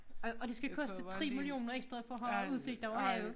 Og og det skal koste 3 millioner ekstra for at have udsigt over havet